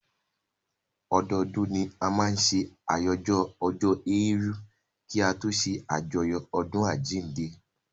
Ọdọdún ni a máa n ṣe àyájọ́ ọjọ́ èèrù kí a tó ṣé àjọyọ̀ ọdún àjínde